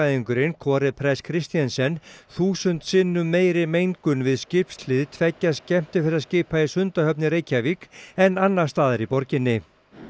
umhverfisverkfræðingurinn Kåre press Kristensen þúsund sinnum meiri mengun við skipshlið tveggja skemmtiferðaskipa í Sundahöfn í Reykjavík en annars staðar í borginni